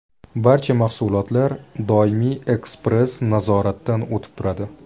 Barcha mahsulotlar doimiy ekspress-nazoratdan o‘tib turadi.